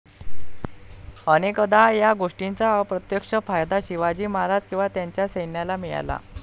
अनेकदा या गोष्टीचा अप्रत्यक्ष फायदा शिवाजी महाराज किंवा त्यांच्या सैन्याला मिळाला.